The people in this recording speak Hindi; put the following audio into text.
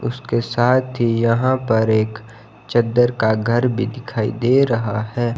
उसके साथ ही यहां पर एक चद्दर का घर भी दिखाई दे रहा है।